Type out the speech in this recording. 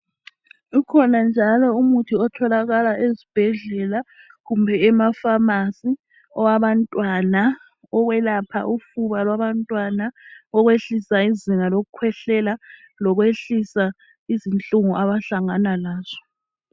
Ukhona njalo umuthi otholakala ezibhedlela kumbe emapharmacy owabantwana. Owelapha ufuba lwabantwana ukwehlisa izinga lokukhwehlela ,lokwehlisa izinhlungu abahlangana lazo.